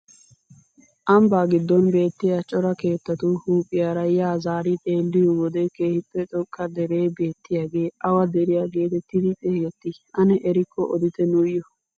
Ambbaa giddon beettiyaa cora keettatu huuphphiyaara yaa zaari xeelliyoo wode keehippe xoqqa deree beettiyaagee awa deriyaa getettidi xeegetti ane erikko odite nuyoo?